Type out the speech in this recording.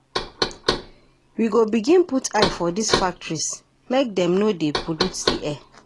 We go begin put eye for dese factories, make dem no dey pollute di air.